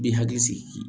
Bi hakili sigi